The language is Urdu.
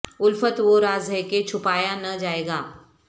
الفت وہ راز ہے کہ چھپایا نہ جائے گا